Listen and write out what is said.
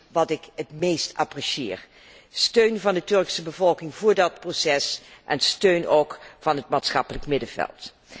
Dat is wat ik het meest apprecieer, steun van de Turkse bevolking voor dat proces en steun ook van het maatschappelijk middenveld.